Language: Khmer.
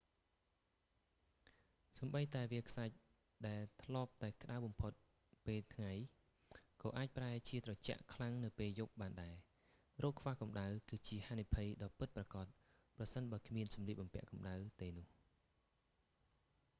សូម្បីតែវាលខ្សាច់ដែលធ្លាប់តែក្តៅបំផុតពេលថ្ងៃ ក៏អាចប្រែជាត្រជាក់ខ្លាំងនៅពេលយប់បានដែរ រោគខ្វះកម្ដៅ គឺជាហានិភ័យដ៏ពិតប្រាកដ ប្រសិនបើគ្មានសម្លៀកបំពាក់កម្តៅទេនោះ